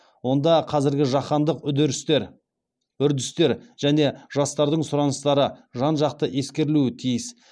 онда қазіргі жаһандық үрдістер және жастардың сұраныстары жан жақты ескерілуі тиіс